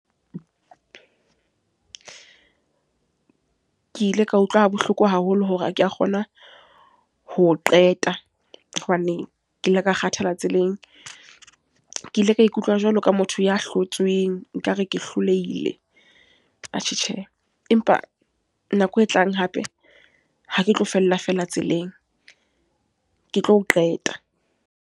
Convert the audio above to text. Ke ile ka utlwa bohloko haholo hore ha ke a kgona ho qeta. Hobane ke ile ka kgathala tseleng. Ke ile ka e ikutlwa jwalo ka motho ya hlotsweng, ekare ke hlolehile. Atjhe tjhe, empa nako e tlang hape, ha ke tlo fella fela tseleng, ke tlo qeta.